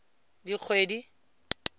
dikgwedi